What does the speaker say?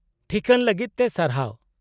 -ᱴᱷᱤᱠᱟᱹᱱ ᱞᱟᱹᱜᱤᱫ ᱛᱮ ᱥᱟᱨᱦᱟᱣ ᱾